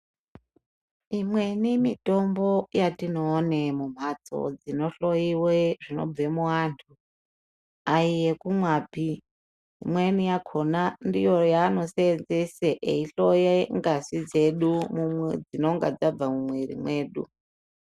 Imweni mitombo yatinoone mumhatso dzinohloyiwe zvinobve muvantu aiyekumwapi imweni yakona ndiyo yano seenzese eyihloye ngazi dzedu dzinenge dzabva mumwiri mwedu